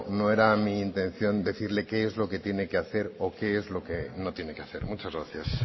no era mi intención decirle qué es lo que tiene que hacer o qué es lo que no tiene que hacer muchas gracias